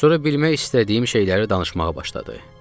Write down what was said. Sonra bilmək istədiyim şeyləri danışmağa başladı.